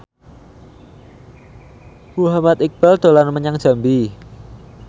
Muhammad Iqbal dolan menyang Jambi